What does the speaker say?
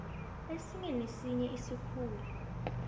esinye nesinye isikhulu